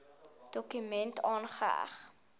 dokument aangeheg